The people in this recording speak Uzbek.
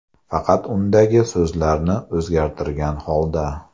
Faqat undagi so‘zlarni o‘zgartirgan holda.